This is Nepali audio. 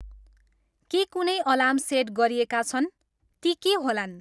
के कुुनै अलार्म सेट गरिएका छन्, ती के होलान्